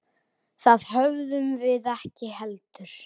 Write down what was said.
Það höfðum við ekki heldur.